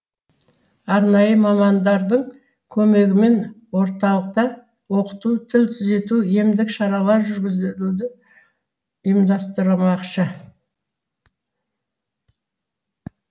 арнайы мамандардың көмегімен орталықта оқыту тіл түзету емдік шаралар жүргізілуді ұйымдастырмақшы